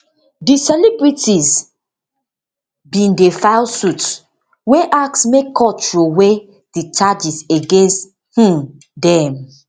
di celebrities bin den file suit wey ask make court throwey di charges against um dem